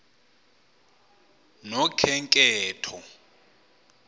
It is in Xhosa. nokhenketho